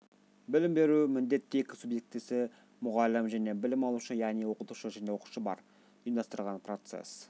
білім беру міндетті екі субъектісі мұғалім жəне білім алушы яғни оқытушы жəне оқушы бар ұйымдастырылған процесс